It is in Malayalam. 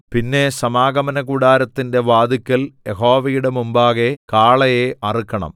പിന്നെ സമാഗമനകൂടാരത്തിന്റെ വാതിൽക്കൽ യഹോവയുടെ മുമ്പാകെ കാളയെ അറുക്കണം